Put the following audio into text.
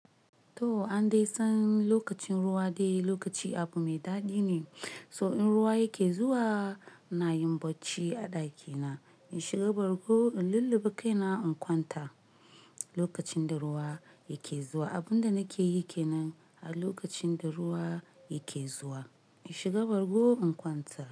To an dai san lokacin ruwa dai lokaci abu mai daɗi ne. So in ruwa yake zuwa ina yi bacci a ɗakina, in shiga bargo in lullube kaina in kwanta. Lokacin da ruwa yake zuwa, abin da nake yi ke nan. A lokacin da ruwa yake zuwa, in shiga bargo in kwanta.